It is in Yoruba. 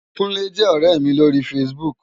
Kunle jè òrè mi lóri fásibúk